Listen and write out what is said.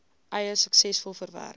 eis suksesvol verwerk